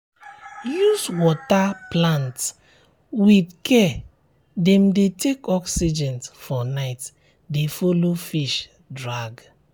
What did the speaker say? use water plants with care dem dey take oxygen for night de follow fish drag